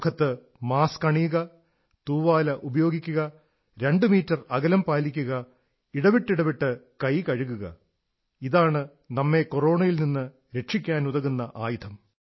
മുഖത്ത് മാസ്ക് അണിയുക തൂവാല ഉപയോഗിക്കുക രണ്ടു മീറ്റർ അകലം പാലിക്കുക ഇടവിട്ടിടവിട്ട് കൈ കഴുകുക ഇതാണ് നമ്മെ കൊറോണയിൽ നിന്ന് രക്ഷിക്കാനുതകുന്ന ആയുധം